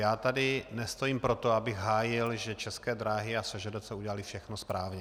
Já tady nestojím proto, abych hájil, že České dráhy a SŽDC udělaly všechno správně.